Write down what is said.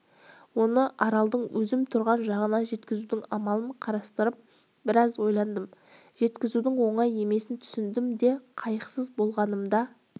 оны аралдың өзім тұрған жағына жеткізудің амалын қарастырып біраз ойландым жеткізудің оңай емесін түсіндім де қайықсыз болғаным да